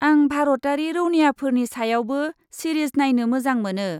आं भारतारि रौनियाफोरनि सायावबो सिरिज नायनो मोजां मोनो।